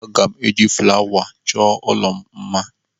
Aga m eji flawa chọọ ụlọ m mma.